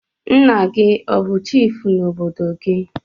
Nna gi o bu chifu n'obodo gi?